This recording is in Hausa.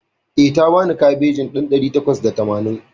Eh, ta bani kabejin ɗan ɗari takwas da tamanin